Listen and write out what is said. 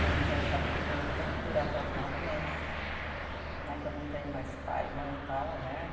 E então, e saber que o dinheiro tem que durar até o final do mês né, que eu não tenho mais pai, mãe e tal, né?